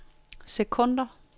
sekunder